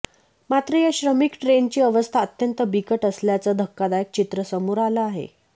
मात्र या श्रमिक ट्रेनची अवस्था अत्यंत बिकट असल्याचं धक्कादायक चित्र समोर आलं आहे